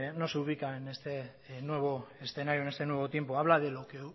no se ubica en este nuevo escenario en este nuevo tiempo habla de lo que